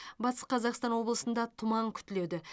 батыс қазақстан облысында тұман күтіледі